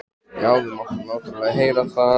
Já, við máttum náttúrlega heyra það.